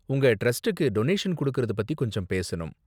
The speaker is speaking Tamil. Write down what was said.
உங்க டிரஸ்டுக்கு டொனேஷன் குடுக்குறது பத்தி கொஞ்ச பேசணும்.